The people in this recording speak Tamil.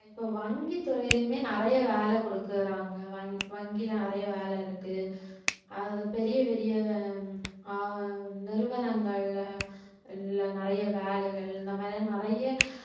ஆமா இப்ப வங்கித்துறையிலயுமே நிறைய வேலை குடுக்குறாங்க வங்~ வங்கியில நிறைய வேலை இருக்கு அது பெரிய பெரிய அஹ் நிறுவனங்கள்ல எல்லா நிறைய வேலைகள் இந்த மாதிரி நிறைய